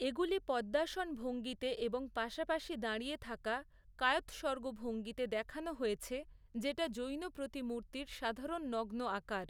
এগুলি পদ্মাসন ভঙ্গিতে এবং পাশাপাশি দাঁড়িয়ে থাকা কায়ৎসর্গ ভঙ্গিতে দেখানো হয়েছে, যেটা জৈন প্রতিমূর্তির সাধারণ নগ্ন আকার।